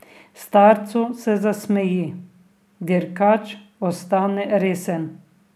Starcu se zasmeji, dirkač ostane resen.